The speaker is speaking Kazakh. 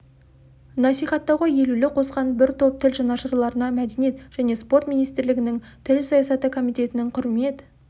насихаттауға елеулі қосқан бір топ тіл жанашырларына мәдениет және спорт министрлігінің тіл саясаты комитетінің құрмет